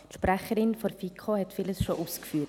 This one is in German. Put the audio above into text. die Sprecherin der FiKo hat vieles schon ausgeführt.